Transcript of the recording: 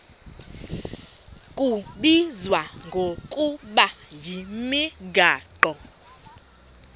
kubizwa ngokuba yimigaqo